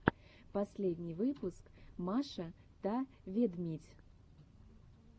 последний выпуск маша та ведмидь